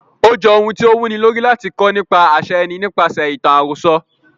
Ó j ohun tí o wu ni lórí, láti kọ́ nípa àṣà ẹni nípaṣẹ̀ ìtàn àròsọ.